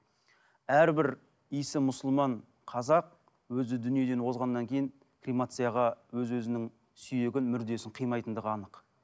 әрбір иісі мұсылман қазақ өзі дүниеден озғаннан кейін кремацияға өз өзінің сүйегін мүрдесін қимайтындығы анық